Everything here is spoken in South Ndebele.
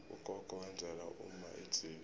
ugogo wenzela umma idzila